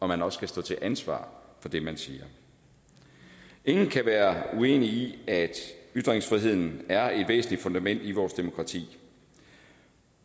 man også skal stå til ansvar for det man siger ingen kan være uenig i at ytringsfriheden er et væsentligt fundament i vores demokrati